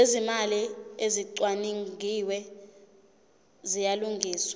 zezimali ezicwaningiwe ziyalungiswa